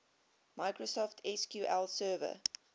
microsoft sql server